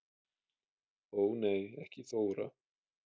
Ó nei ekki Þóra